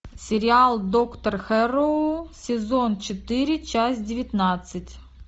сериал доктор хэрроу сезон четыре часть девятнадцать